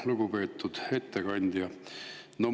Lugupeetud ettekandja!